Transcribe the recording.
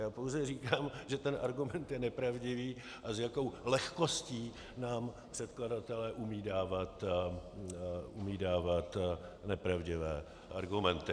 Já pouze říkám, že ten argument je nepravdivý a s jakou lehkostí nám předkladatelé umějí dávat nepravdivé argumenty.